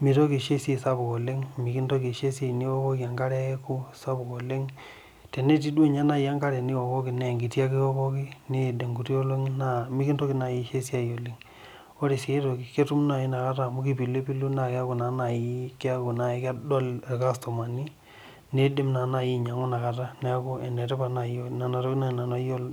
mitoki sii aisho esiai sapuk oleng mikintoki aisho esiai niwokoki enkare peeku sapuk oleng' tenetii duo ninye enkare niwokiwoko naa enkiti ake iwokoki niyid inkuti olong'i naa mikintoki nai aisho esiai oleng Ore sii aitoki naa ketum nai inakata apilipilo naa keeku naa nai keeku nai kedol ilkastumani nidim naa nai ainyang'a inakata niaku enetipat nena tokiting nai nanu ayiolo